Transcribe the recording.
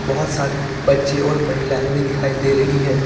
बहोत सारे बच्चे और महिलाएं भी दिखाई दे रही हैं।